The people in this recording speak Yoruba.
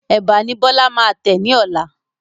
Ẹ̀bà ni Bọlá máa tẹ ni ọ̀la